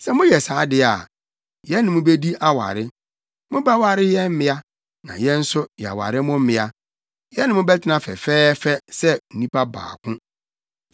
Sɛ moyɛ saa de a, yɛne mo bedi aware. Mobɛware yɛn mmea, na yɛn nso, yɛaware mo mmea. Yɛne mo bɛtena fɛfɛɛfɛ sɛ nnipa baako.